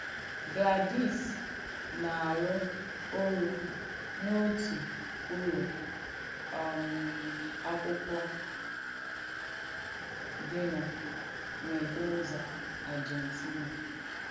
GLADYS nà-àrụ́ urù n’òtù ùlọ um àkụ̀kwọ̀ dì nà Mèndòzà, Àrjèntìnà.